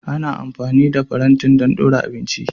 Ana amfani da farantin don ɗora abinci